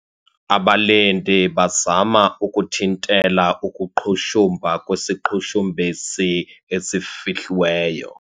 Abalindi bazama ukunthintela ukuqhushumba kwesiqhushumbisi esifihliweyo.